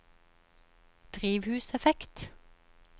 drivhuseffekt